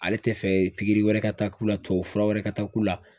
Ale tɛ fɛ wɛrɛ ka taa k'u la tubabu fura wɛrɛ ka taa k'u la